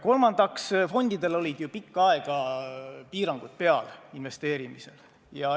Kolmandaks, fondidel olid ju pikka aega investeerimisel piirangud peal.